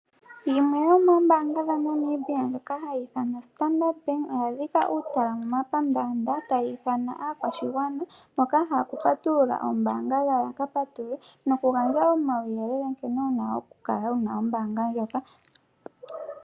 Yimwe yomoombanga dhaNamibia ndjoka hayi ithanwa ombaanga yaStandard oya dhika uutala momapandanda tayi ithana aakwashigwana mboka yahala oku patulula oombaanga yawo yaka patulule, nokugandja omawuyelele nkene wuna oku kala wuna ombaanga ndjoka.